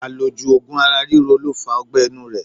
Àlòjù ogun ara ríro lo fa ogbé̩ inú rẹ